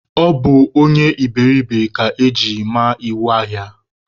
Ọ bụ onye iberiribe ka eji ma iwu ahịa